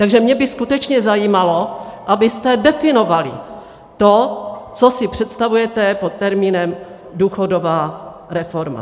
Takže mě by skutečně zajímalo, abyste definovali to, co si představujete pod termínem důchodová reforma.